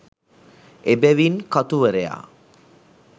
එබැවිනි කතුවරයා